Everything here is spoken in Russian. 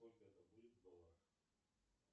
сколько это будет в долларах